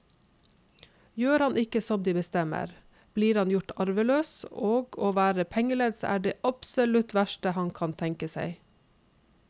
Gjør han ikke som de bestemmer, blir han gjort arveløs, og å være pengelens er det absolutt verste han kan tenke seg.